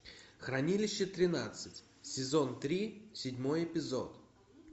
хранилище тринадцать сезон три седьмой эпизод